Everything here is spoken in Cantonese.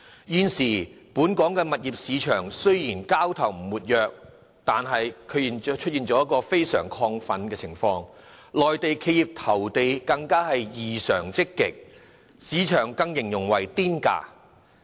現時，本港物業市場交投雖然並不活躍，但卻出現非常亢奮的情況，內地企業對投地更異常積極，市場更形容為"癲價"。